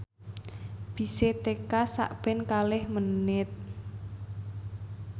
bise teka sakben kalih menit